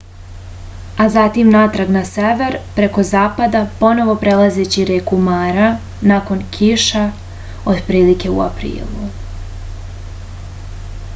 a zatim natrag na sever preko zapada ponovo prelazeći reku mara nakon kiša otprilike u aprilu